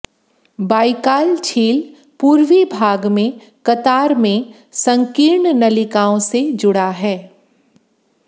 Baikal झील पूर्वी भाग में कतार में संकीर्ण नलिकाओं से जुड़ा है